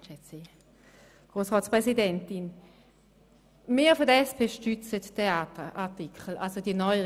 Die SP stürzt die Neuerungen des Artikels 13 voll.